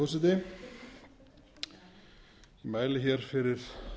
virðulegi forseti ég mæli hér fyrir